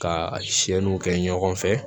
Ka siyɛnniw kɛ ɲɔgɔn fɛ